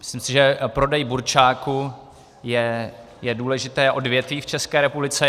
Myslím si, že prodej burčáku je důležité odvětví v České republice.